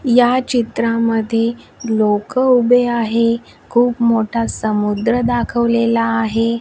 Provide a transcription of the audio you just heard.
या चित्रामध्ये लोकं उभे आहे खूप मोठा समुद्र दाखवलेला आहे.